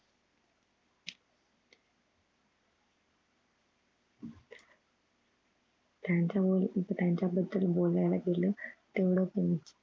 त्यांच्यावर त्यांच्या बद्दल बोलायला गेलं तेवढं कमी